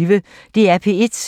DR P1